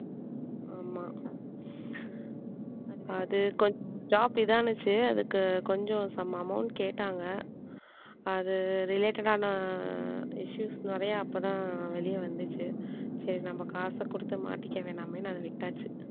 அது கொஞ்சம் job இதானிச்சு அதுக்கு கொஞ்சம் some amount கேட்டாங்க அது related ஆன issues நிறையா அப்பதான் வெளியே வந்துச்சு சரி நம்ம காசை கொடுத்து மாட்டிக்க வேணாமேன்னு அதை விட்டாச்சு